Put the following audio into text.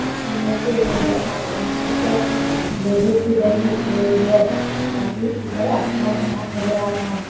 में पेड़ नज़र आ रहे हैं ऊपर लोहे की रॉड दिख रही है साथ ही ऊपर आसमान साफ़ नज़र आ रहा है।